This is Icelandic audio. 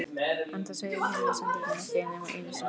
En það segir himnasendingin ekki nema einu sinni.